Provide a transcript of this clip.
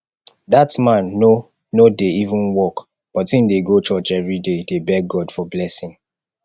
dat man no no dey even work but im dey go church everyday dey beg god for blessing